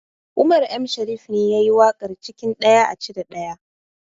Umar M shariff ne yayi waƙar cikin ɗaya a cire ɗaya